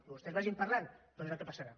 i vostès vagin parlant però és el que passarà